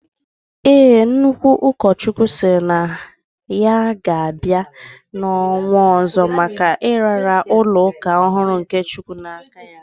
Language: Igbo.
Ee, Nnukwu ukochukwu siri na ya ga bai na onwo ozo maka iraara ulo uka ohuru nye chukwu na aka